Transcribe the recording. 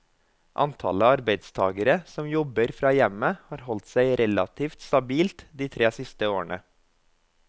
Antallet arbeidstagere som jobber fra hjemmet har holdt seg relativt stabilt de tre siste årene.